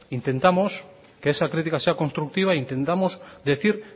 intentamos que esa crítica sea constructiva e intentamos decir